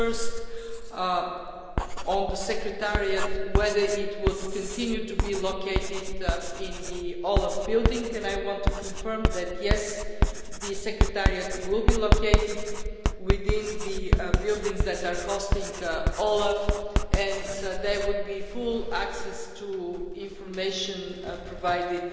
First on the Secretariat, whether it will continue to be located in the OLAF building I want to confirm that, yes, the Secretariat will be located within the buildings that are hosting OLAF and there would be full access to information provided.